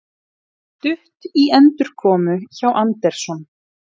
Stutt í endurkomu hjá Anderson